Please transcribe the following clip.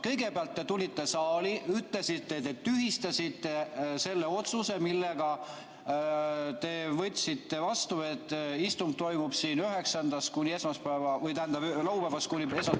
Kõigepealt te tulite saali ja ütlesite, et te tühistasite selle otsuse, mille olite vastu võtnud, et istung toimub siin laupäevast kuni esmaspäeva hommikuni.